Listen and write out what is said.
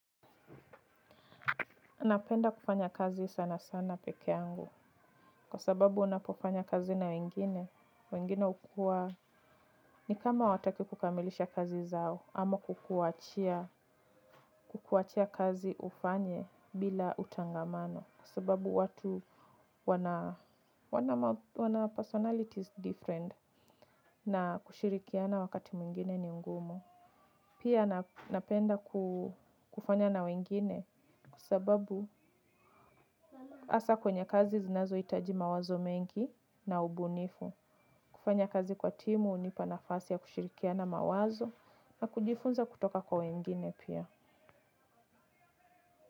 Napenda kufanya kazi sana sana peke yangu kwa sababu unapofanya kazi na wengine, wengine hukuwa ni kama hawataki kukamilisha kazi zao ama kukuachia kazi ufanye bila utangamano kwa sababu watu wana personalities different na kushirikiana wakati mwingine ni ngumu. Pia napenda kufanya na wengine kwa sababu hasa kwenye kazi zinazohitaji mawazo mengi na ubunifu. Kufanya kazi kwa timu hunipa nafasi ya kushirikiana mawazo na kujifunza kutoka kwa wengine pia.